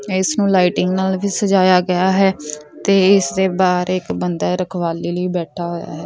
ਇਸ ਨੂੰ ਲਾਈਟਿੰਗ ਨਾਲ ਵੀ ਸਜਾਇਆ ਗਿਆ ਹੈ ਤੇ ਇਸ ਦੇ ਬਹਾਰ ਇੱਕ ਬਾਂਦਰ ਰਖਵਾਲੀ ਲਈ ਬੈਠਾ ਹੋਇਆ ਹੈ।